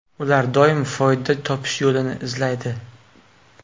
Ular doim foyda topish yo‘lini izlaydi.